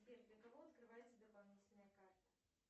сбер для кого открывается дополнительная карта